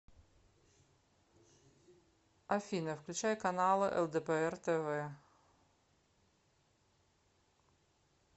афина включай каналы лдпр тв